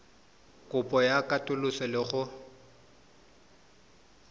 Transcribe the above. kopo ya katoloso le go